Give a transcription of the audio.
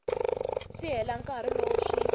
si hela nkarhi lowu swi